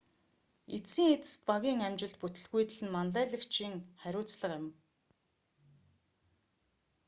эцсийн эцэст багийн амжилт бүтэлгүйтэл нь манлайлагчийн хариуцлага юм